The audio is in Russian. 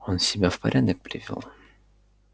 он себя в порядок привёл